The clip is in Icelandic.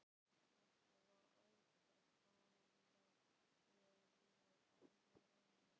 Þetta var átakanlegt og við alveg ráðalaus.